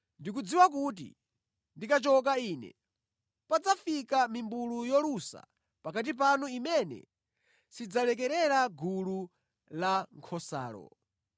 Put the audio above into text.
Ndikudziwa kuti ndikachoka ine, padzafika mimbulu yolusa pakati panu imene sidzalekerera gulu lankhosalo.